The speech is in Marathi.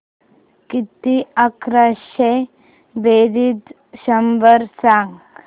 किती अकराशे बेरीज शंभर सांग